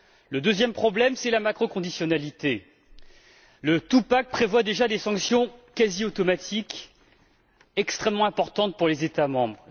Le deuxième, c'est la macro conditionnalité le two pack prévoit déjà des sanctions quasi automatiques extrêmement importantes pour les États membres.